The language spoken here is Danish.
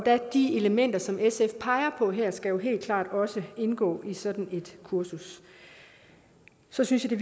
de elementer som sf peger på her skal jo helt klart indgå i sådan et kursus så synes jeg